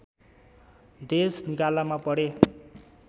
देश निकालामा परे